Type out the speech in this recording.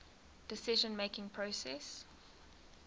decision making process